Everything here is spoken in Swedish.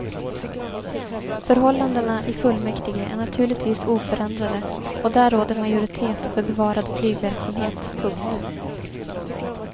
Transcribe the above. Förhållandena i fullmäktige är naturligtvis oförändrade och där råder majoritet för bevarad flygverksamhet. punkt